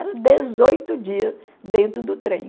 Era dezoito dias dentro do trem.